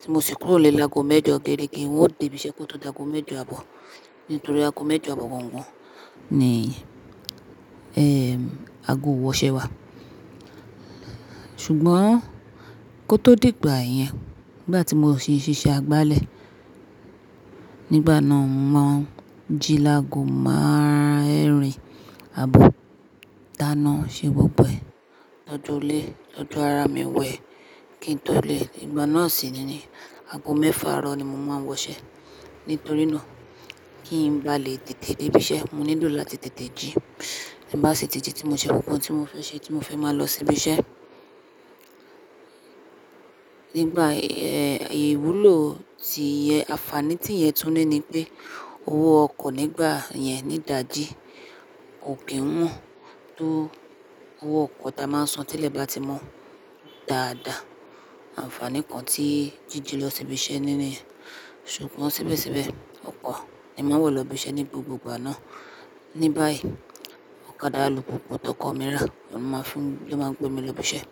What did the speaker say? tí mo sì kúrò nilẹ́ laágo mẹ́jọ gẹ́regẹ́, n ó dé ibi iṣẹ́ kó tó daàgò mẹ́jọ àbọ̀ nítorí aago mẹ́jọ àbọ̀ gangan ni ẹ́ aago ìwọṣẹ́ wà. Ṣùgbọ́n kó tó di ìgbà yẹn, nígbà tí mò ń si ṣe iṣẹ́ agbálẹ̀ nígbà náà, mo maa ń jí laàgò meerìn àbọ̀ dánáa ṣe gbogbo ẹ̀ toju ilé toju ara mi wẹ́ kí n tó lè. Ìgbà náà sì niyii aago mẹ́fà àárọ̀ ni mo máa ń wọṣẹ́. Nítorí náà kí n bá lè tètè dé ibi iṣẹ́, mo nílò láti tètè jí tí n bá sì tètè tí mo ṣe gbogbo ohun tí mo fẹ́ ṣe tí mo fẹ́ máa lọ sí ibi iṣẹ́. Nígbà ìwúlò ti iye ànfààní tí ìyẹn tún ní ni pé owó ọkọ̀ nígbà yẹn nì dàjí. Kò kí ń wọ́n tó owó ọkọ̀ tí a máa ń san tẹ́lẹ̀ bá ti mọ́ dáadáa. Ànfààní kan tí jíjì lọ sí ibi iṣẹ́ ni niyen. Ṣùgbọ́n síbẹ̀síbẹ̀ ọkọ̀ ni màá wọ lọ ibi iṣẹ́ ní gbogbo ìgbà náà. Ní báyìí ọ̀kadà alùpùpù tọkọ̀ mi rà ló máa ń fún ló máa ń gbé mi lọ ibi iṣẹ́.